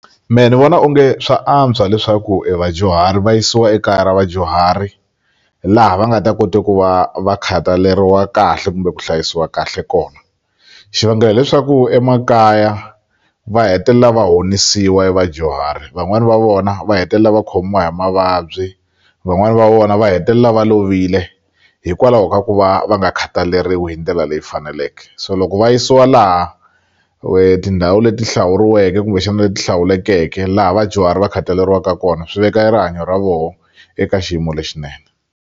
Me ni vona onge swa antswa leswaku e vadyuhari va yisiwa ekaya ra vadyuhari laha va nga ta kote ku va va khataleriwa kahle kumbe ku hlayisiwa kahle kona xivangelo hileswaku emakaya va hetelela va honisiwa e vadyuhari van'wani va vona va hetelela va khomiwa hi mavabyi van'wani va vona va hetelela va lovile hikwalaho ka ku va va nga khataleriwi hindlela leyi faneleke so loko va yisiwa laha tindhawu leti hlawuriweke kumbexana leti hlawulekeke laha vadyuhari va khataleriwa kona swi veka e rihanyo ra voho eka xiyimo lexinene.